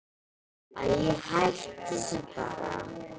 Æi, hættu þessu bara.